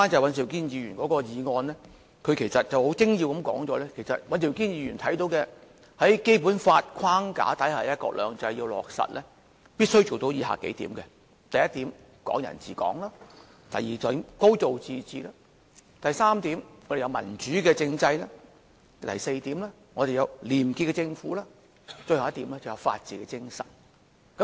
尹兆堅議員的議案其實很精要地指出，在《基本法》的框架之下落實"一國兩制"必須做到以下數點：第一點，"港人治港"；第二點，"高度自治"；第三點，要有民主政制；第四點，要有廉潔政府，而最後一點是法治精神。